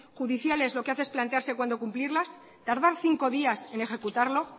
judiciales lo que hace es plantearse cuándo cumplirlas tardar cinco días en ejecutarlo